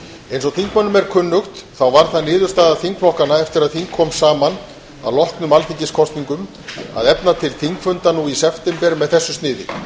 eins og þingmönnum er kunnugt þá varð það niðurstaða þingflokkanna eftir að þing kom saman að loknum alþingiskosningum að efa til þingfunda nú í september með þessu sniði